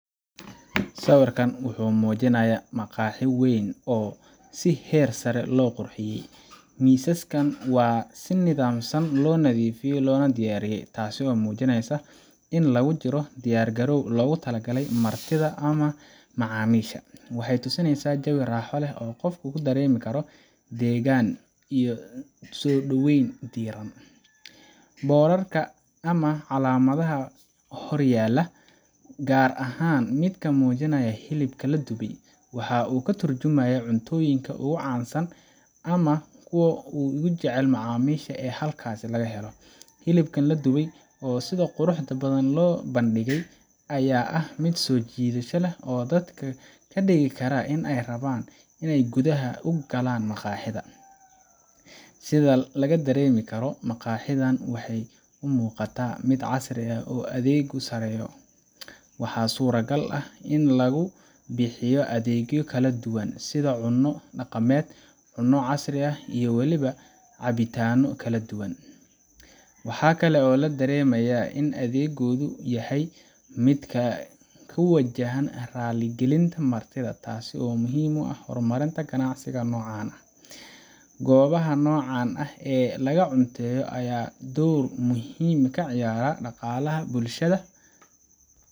Sawiirkaan wuxuu mujinaaya maqaaxi weyn, misaska si nidaamsan loo nadiifiya, waxaay tusineyso jawi raaxo leh, calamada hor yaala gaar ahaan hilibka wuxuu mujinaaya mid soo jidasha leh, sida laga dareemi karo maqaxida waxeey u egtahay mid heer sare ah, waxaa kale oo la dareemaya in adeegooda uu yahay mid wanagsan, gobaha noocan ayaa door muhiim ah kaqaata daqalaha bulshada.